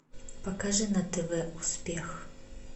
покажи на тв успех